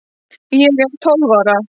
Ég er tólf ára.